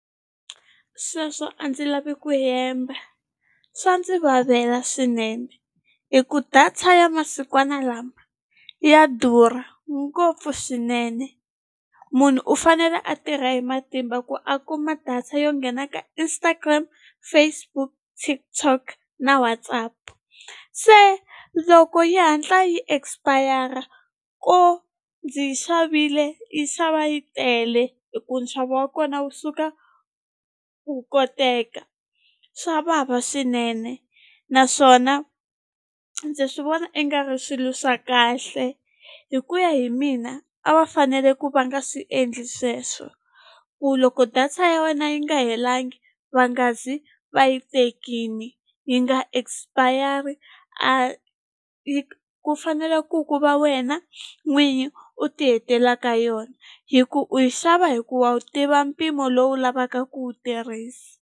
Sweswo a ndzi lavi ku hemba swa ndzi vavela swinene hi ku data ya masikwana lama ya durha ngopfu swinene munhu u fanele a tirha hi matimba ku a kuma data yo nghena ka Instagram Facebook TikTok na WhatsApp se loko yi hatla yi expire ko ndzi yi xavile yi xava yi tele hi ku nxavo wa kona wu suka wu koteka swa vava swinene naswona ndzi swi vona i nga ri swilo swa kahle hi ku ya hi mina a va fanele ku va nga swi endli sweswo ku loko data ya wena yi nga helangi va nga zi va yi tekini yi nga expire a ku fanele ku ku va wena n'winyi u ti hetelaka yona hi ku u yi xava hi ku wa wu tiva mpimo lowu lavaka ku wu tirhisa.